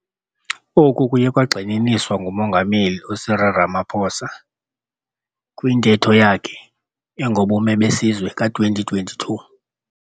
Oku kuye kwagxininiswa nguMongameli Cyril Ramaphosa kwiNtetho yakhe engoBume beSizwe ka-2022.